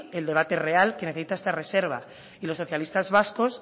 el debate real que necesita esta reserva y los socialistas vascos